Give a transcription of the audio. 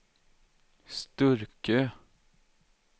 Sturkö